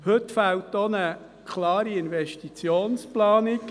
Heute fehlt auch eine klare Investitionsplanung: